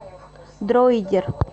дроидер